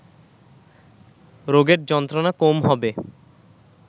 রোগের যন্ত্রণা কম হবে